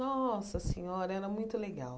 Nossa Senhora, era muito legal.